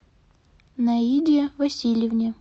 наиде васильевне